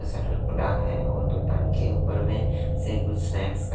ये शटर खुला है और दुकान के ऊपर में से कुछ स्नैक्स का--